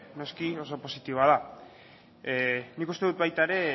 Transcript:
noski oso positiboa da nik uste dut baita ere